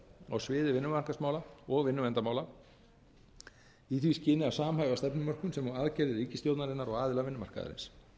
á sviði vinnumarkaðsmála og vinnuverndarmála í því skyni að samhæfa stefnumörkun sem og aðgerðir ríkisstjórnarinnar og aðila vinnumarkaðarins